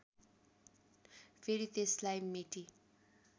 फेरि त्यसलाई मेटि